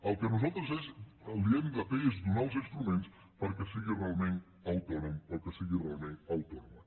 el que nosaltres li hem de fer és donar els instruments perquè sigui realment autònom o que sigui realment autònoma